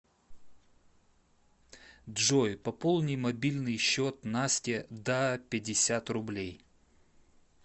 джой пополни мобильный счет насте да пятьдесят рублей